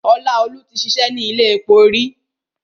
Ọláolúwa ti ṣìṣẹ́ ni ilé epo rí.